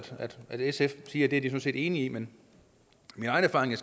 at sf siger de de er enige i men min egen erfaring